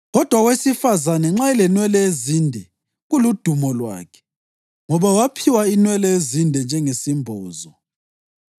kodwa owesifazane nxa elenwele ezinde, kuludumo lwakhe? Ngoba waphiwa inwele ezinde njengesimbozo.